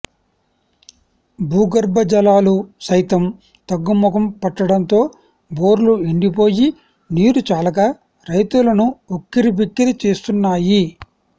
భూగర్భ జలాలు సైతం తగ్గుముఖం పట్టడంతో బోర్లు ఎండిపోయి నీరు చాలక రైతులను ఉక్కిరిబిక్కిరి చేస్తున్నాయి